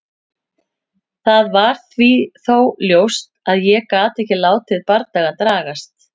Það var þó ljóst að ég gat ekki látið bardagann dragast.